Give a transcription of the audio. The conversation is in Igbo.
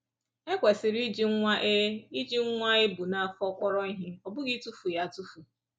E kwesịrị iji nwa e iji nwa e bu n’afọ kpọrọ ihe, ọ bụghị ịtụfu ya atụfu.